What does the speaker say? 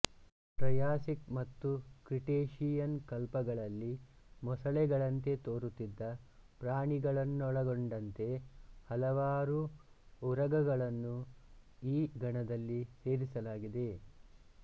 Triassic ಮತ್ತು Cretaceous ಕಲ್ಪಗಳಲ್ಲಿ ಮೊಸಳೆಗಳಂತೆ ತೋರುತ್ತಿದ್ದ ಪ್ರಾಣಿಗಳನ್ನೊಳಗೊಂಡಂತೆ ಹಲವಾರು ಉರಗಗಳನ್ನು ಈ ಗಣದಲ್ಲಿ ಸೇರಿಸಲಾಗಿದೆ